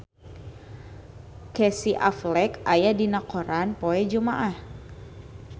Casey Affleck aya dina koran poe Jumaah